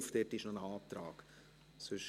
dazu liegt noch ein Antrag vor.